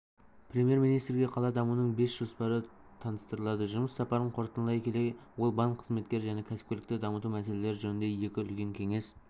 премьер-министрге қала дамуының бас жоспары таныстырылады жұмыс сапарын қорытындылай келе ол банк қызметі және кәсіпкерлікті дамыту мәселелері жөнінде екі үлкен кеңес